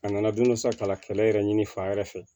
A nana don dɔ sa ka kɛlɛ yɛrɛ ɲini fan wɛrɛ fɛ